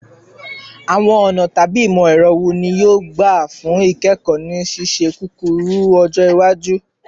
Awọn ọna tabi imọ-ẹrọ wo ni yoo gba fun ikẹkọ ni ṣiṣiṣẹ kukuru-ọjọ iwaju?